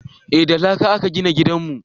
eh da laƙa a ka gina gidanmu